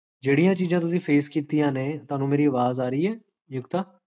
ਜੇਹੜੀਆਂ ਚੀਜ਼ਾਂ ਤੁਸੀਂ face ਕੀਤੀਆਂ ਨੇ, ਤੁਹਾਨੂ ਮੇਰੀ ਆਵਾਜ਼ ਆ ਰਹੀ ਹੈ?